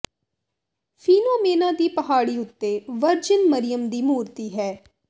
ਫੀਨੋਮੇਨਾ ਦੀ ਪਹਾੜੀ ਉੱਤੇ ਵਰਜਿਨ ਮਰਿਯਮ ਦੀ ਮੂਰਤੀ ਹੈ